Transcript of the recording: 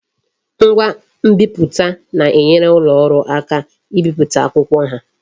Ngwa nbiputa na-enyere ulo oru aka ibipụta akwụkwọ ha